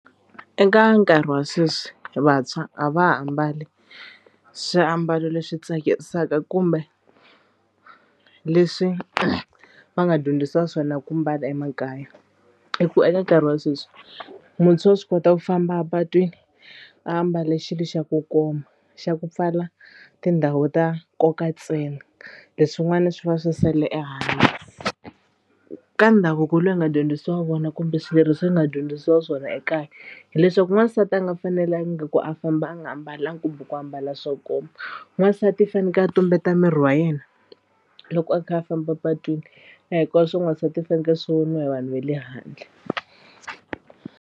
Eka nkarhi wa sweswi vantshwa a va ha ambali swiambalo leswi tsakisaka kumbe leswi va nga dyondzisiwa swona ku mbala emakaya. I ku eka nkarhi wa sweswi muntshwa wa swi kota ku famba epatwini a ambale xilo xa ku koma xa ku pfala tindhawu ta nkoka ntsena leswin'wana swi va swi sale ehandle. Ka ndhavuko lowu hi nga dyondzisiwa wona kumbe swileriso leswi hi nga dyondzisiwa swona ekaya hileswaku n'wansati a nga fanelangi ku a famba a nga ambalangi kumbe ku ambala swo koma n'wansati i fanekele a tumbeta miri wa yena loko a kha a famba a patwini a hikwaswo swa n'wansati swi fanekele swi voniwa hi vanhu va le handle.